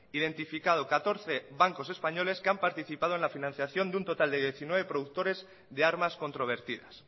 identificado catorce bancos españoles que han participado en la financiación de un total de diecinueve productores de armas controvertidas